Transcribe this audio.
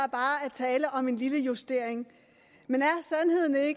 tale om en lille justering men